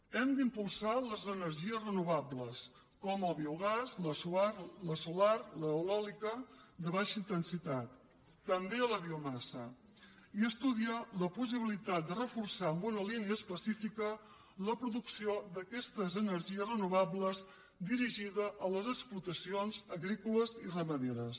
hem d’impulsar les energies renovables com el biogàs la solar l’eòlica de baixa intensitat també la biomassa i estudiar la possibilitat de reforçar amb una línia específica la producció d’aquestes energies renovables dirigida a les explotacions agrícoles i ramaderes